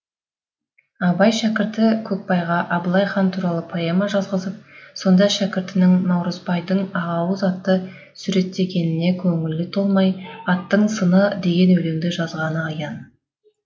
абай шәкірті көкбайға абылай хан туралы поэма жазғызып сонда шәкіртінің наурызбайдың ақауыз атын суреттегеніне көңілі толмай аттың сыны деген өлеңді жазғаны аян